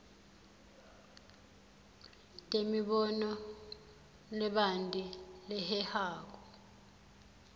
temibono lebanti lehehako